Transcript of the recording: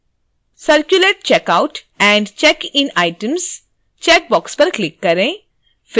circulate check out and check in items checkbox पर click करें